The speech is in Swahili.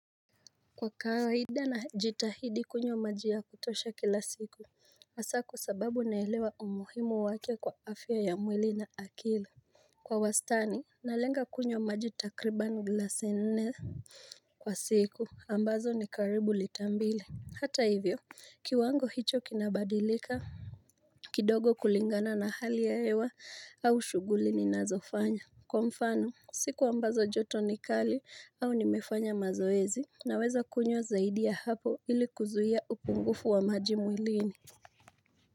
Kwa kawaida najitahidi kunywa maji ya kutosha kila siku Hasa kwa sababu naelewa umuhimu wake kwa afya ya mwili na akili Kwa wastani, nalenga kunywa maji takriban glasi nne kwa siku, ambazo ni karibu lita mbili. Hata hivyo, kiwango hicho kinabadilika kidogo kulingana na hali ya hewa au shughuli ninazofanya Kwa mfano, siku ambazo joto ni kali au nimefanya mazoezi Naweza kunywa zaidi ya hapo ili kuzuia upungufu wa maji mwilini.